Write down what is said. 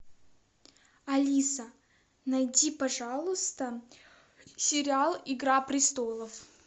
алиса найди пожалуйста сериал игра престолов